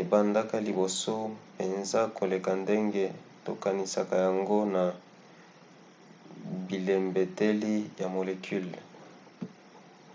ebandaka liboso mpenza koleka ndenge tokanisaka yango na bilembeteli ya molecule.